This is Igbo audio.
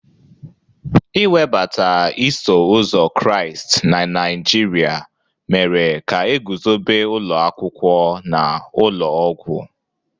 Iwebata iso ụzọ Kraịst na Naijiria mere ka e guzobe ụlọ akwụkwọ na ụlọ ọgwụ.